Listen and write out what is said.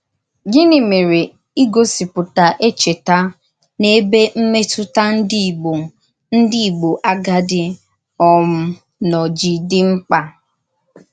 Gịnị mèré ígòsìpùtà èchètà n’èbè mmètùtà ndí Ìgbò ndí Ìgbò àgádì um nọ jì dí mkpa?